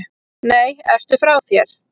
Nei, ertu frá þér!